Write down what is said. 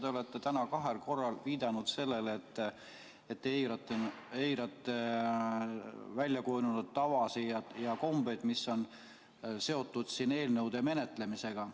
Te olete täna kahel korral viidanud sellele, et te eirate väljakujunenud tavasid ja kombeid, mis on seotud eelnõude menetlemisega.